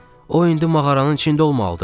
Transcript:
Hə, o indi mağaranın içində olmalıdı.